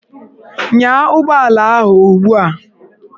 Nyaa ụgbọala ahụ ugbu a!